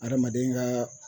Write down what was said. Adamaden ka